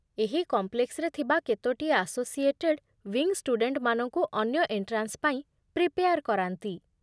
ଏହି କମ୍ପ୍ଲେକ୍ସରେ ଥିବା କେତୋଟି ଆସୋସିଏଟେଡ୍ ୱିଙ୍ଗ୍ ଷ୍ଟୁଡେଣ୍ଟମାନଙ୍କୁ ଅନ୍ୟ ଏଣ୍ଟ୍ରାନ୍ସ ପାଇଁ ପ୍ରିପେୟାର୍ କରାନ୍ତି ।